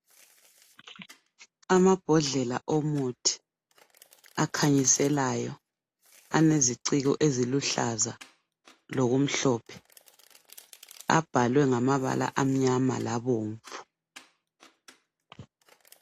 Amambodlela omuthi akhanyiselayo aleziciko eziluhlaza lokumhlophe abhalwe ngamabala amnyama labomvu.